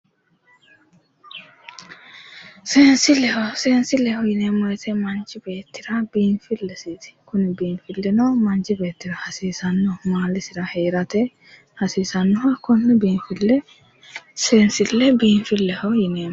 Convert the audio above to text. Seenisilleho seenisilleho yineemo woyite manichi beetira biinifilesiiti Kuni biinifilinno Manichi beetira hasiisano maalisira heerate hasiisannoha konne binifille seesille biinifilehho yineemo